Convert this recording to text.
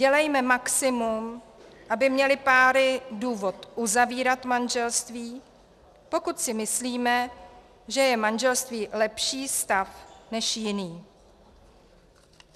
Dělejme maximum, aby měly páry důvod uzavírat manželství, pokud si myslíme, že je manželství lepší stav než jiný.